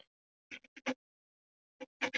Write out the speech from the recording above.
Loksins var þessi síðasti tími búinn.